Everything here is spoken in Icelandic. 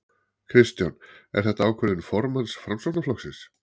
Kristján: Er þetta ákvörðun formanns Framsóknarflokksins?